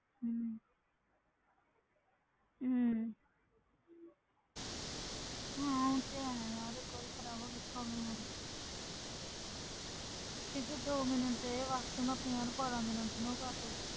ਹਮ ਹਮ ਹਾਂ ਉਹ ਤੇ ਹੈ ਯਾਰ ਇੱਕ ਵਾਰੀ ਖ਼ਰਾਬ ਹੋ ਗਏ problem ਹੋ ਜਾਊਗੀ ਕਿਉਂਕਿ ਦੋ ਮਿੰਟ ਦੇ ਵਾਸਤੇ ਮੈਂ ਆਪਣੇ ਯਾਰ ਵਾਲਾਂ ਨੂੰ ਕਰ ਸਕਦੀ